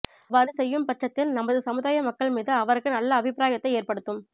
அவ்வாறு செய்யும் பட்சத்தில் நமது சமுதாய மக்கள் மீது அவருக்கு நல்ல அபிப்ராயத்தை ஏற்படுத்தும்